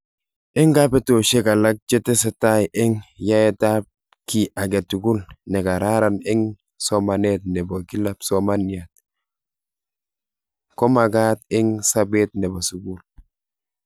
Eng kabetoshek alak che tese tai eng yaeet ap ki ake tugul ne kararan eng somanet nepo kila psomaniat komakat eng sapet nebo sukul.